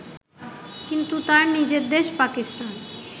কিন্তু তার নিজের দেশ পাকিস্তান